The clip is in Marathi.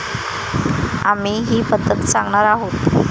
आम्ही ही पद्धत सांगणार आहोत.